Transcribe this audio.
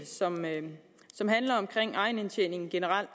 som handler om egenindtjeningen generelt